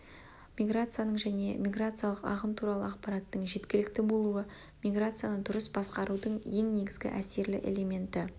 миграцияның және миграциялық ағын туралы ақпараттың жеткілікті болуы миграцияны дұрыс басқарудың ең негізгі әсерлі элементі